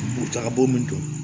Muru taga bo min don